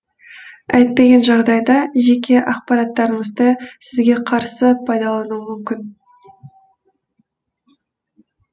әйтпеген жағдайда жеке ақпараттарыңызды сізге қарсы пайдалануы мүмкін